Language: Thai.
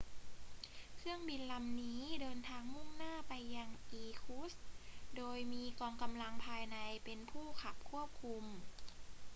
เครื่องบินลำนี้เดินทางมุ่งหน้าไปยังอีร์คุตสค์ โดยมีกองกำลังภายในเป็นผู้ขับควบคุม